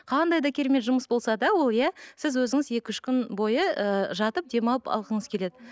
қандай да керемет жұмыс болса да ол иә сіз өзіңіз екі үш күн бойы ы жатып демалып алғыңыз келеді